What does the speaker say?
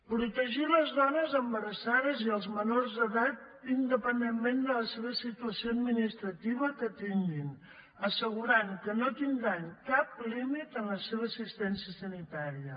protegir les dones embarassades i els menors d’edat independentment de la seva situació administrativa que tinguin assegurant que no tindran cap límit en la seva assistència sanitària